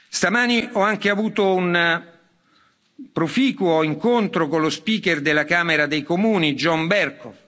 Stamani ho anche avuto un proficuo incontro con lo Speaker della Camera dei Comuni John Bercow.